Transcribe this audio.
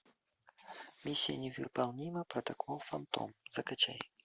миссия невыполнима протокол фантом закачай